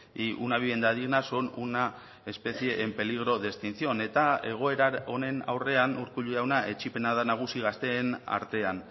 y una vivienda digna son una especie en peligro de extinción eta egoera honen aurrean urkullu jauna etzipena da nagusi gazteen artean